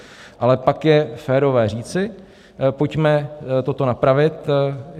Ale pak je férové říci: pojďme toto napravit.